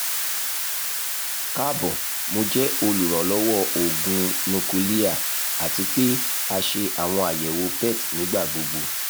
kaabo mo jẹ oluranlọwọ oogun nukiliya ati pe a ṣe awọn ayẹwo pet nigbagbogbo